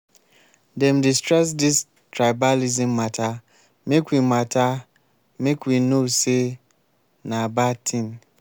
dem dey stress dis tribalism mata make we mata make we know sey na bad tin.